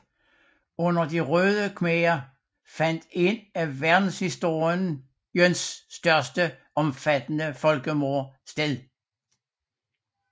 Under De Røde Khmerer fandt et af verdenshistoriens mest omfattende folkemord sted